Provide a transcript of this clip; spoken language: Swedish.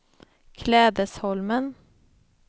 Klädesholmen